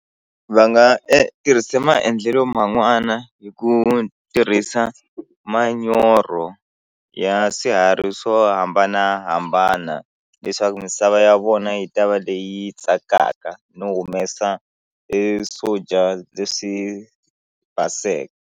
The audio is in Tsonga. Va nga tirhise maendlelo man'wana hi ku tirhisa manyoro ya swiharhi swo hambanahambana leswaku misava ya vona yi ta va leyi tsakaka no humesa e swo dya leswi baseke.